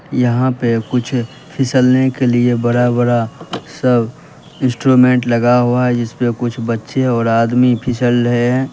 यहां पे कुछ फिसलने के लिए बड़ा बड़ा सब इंस्ट्रूमेंट लगा हुआ है जिसपे कुछ बच्चे और आदमी फिसल रहे हैं।